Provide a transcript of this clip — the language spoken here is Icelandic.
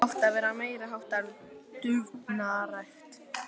Það átti að vera meiri háttar dúfnarækt.